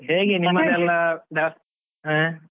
ಹೇಗೆ ಆ.